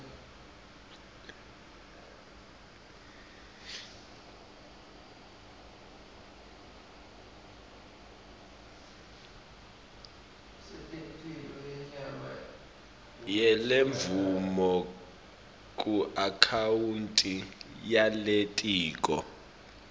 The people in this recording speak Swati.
yalemvumo kuakhawunti yelitiko